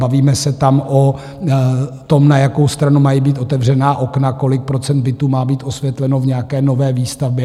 Bavíme se tam o tom, na jakou stranu mají být otevřená okna, kolik procent bytů má být osvětleno v nějaké nové výstavbě.